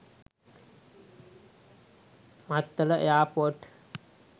mattala air port